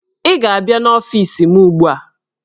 Ị ga-abịa n'ọfiisi m ugbu a!